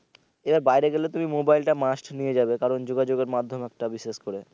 এরা বাইরে গেলে তুমি মোবাইল টা must নিয়ে যাবে কারন যোগাযোগের মাধ্যম একটা বিশেষ করে